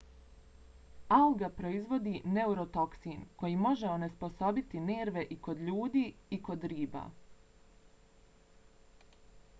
alga proizvodi neurotoksin koji može onesposobiti nerve i kod ljudi i kod riba